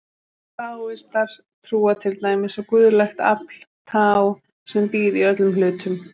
Taóistar trúa til dæmis á guðlegt afl, taó, sem býr í öllum hlutum.